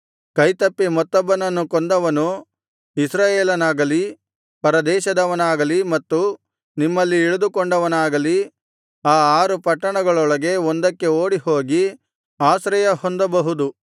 ಕೈತಪ್ಪಿ ಮತ್ತೊಬ್ಬನನ್ನು ಕೊಂದವನು ಇಸ್ರಾಯೇಲನಾಗಲಿ ಪರದೇಶದವನಾಗಲಿ ಮತ್ತು ನಿಮ್ಮಲ್ಲಿ ಇಳಿದುಕೊಂಡವನಾಗಲಿ ಆ ಆರು ಪಟ್ಟಣಗಳೊಳಗೆ ಒಂದಕ್ಕೆ ಓಡಿಹೋಗಿ ಆಶ್ರಯಹೊಂದಬಹುದು